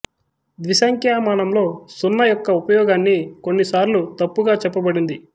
ద్విస్ంఖ్యామానంలో సున్న యొక్క ఉపయోగాన్ని కొన్ని సార్లు తప్పుగా చెప్పబడింది